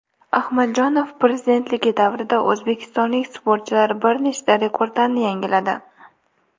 Ahmadjonov prezidentligi davrida o‘zbekistonlik sportchilar bir nechta rekordlarni yangiladi: !